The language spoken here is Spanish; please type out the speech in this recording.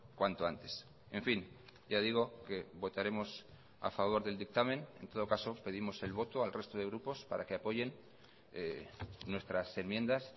cuanto antes en fin ya digo que votaremos a favor del dictamen en todo caso pedimos el voto al resto de grupos para que apoyen nuestras enmiendas